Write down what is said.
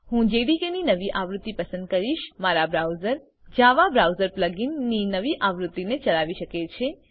હું જેડીકે ની નવી આવૃત્તિ પસંદ કરીશમારું બ્રાઉઝર જવા બ્રાઉઝર પ્લગ ઇન ની નવી આવૃત્તિને ચલાવી શકે છે